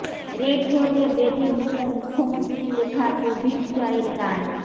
red রোডে বেজে উঠল মুখ্যমন্ত্রীর লেখা কোভিড জয়ের গান